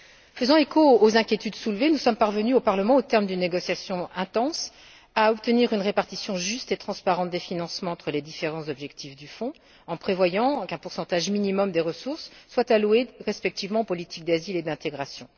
Faisant écho aux inquiétudes soulevées, nous sommes parvenus, au Parlement, au terme d'une négociation intense, à obtenir une répartition juste et transparente des financements entre les différents objectifs du fonds, en prévoyant qu'un pourcentage minimum des ressources soit alloué respectivement aux politiques d'asile et d'intégration.